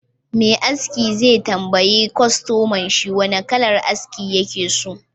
Me aski zai tambayi kwastomanshi wane kalar aski yake so